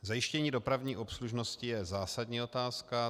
Zajištění dopravní obslužnosti je zásadní otázka.